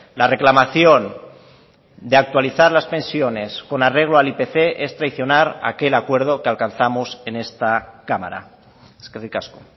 la reclamación de actualizar las pensiones con arreglo al ipc es traicionar aquel acuerdo que alcanzamos en esta cámara eskerrik asko